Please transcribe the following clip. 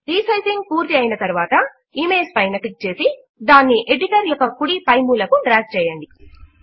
resizing పూర్తి అయిన తరువాత ఇమేజ్ పైన క్లిక్ చేసి దానిని ఎడిటర్ యొక్క కుడి పై మూల కు డ్రాగ్ చేయండి